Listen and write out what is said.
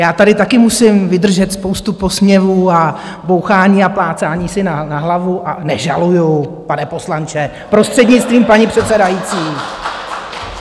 Já tady také musím vydržet spoustu posměvů a bouchání a plácání si na hlavu a nežaluju, pane poslanče, prostřednictvím paní předsedající.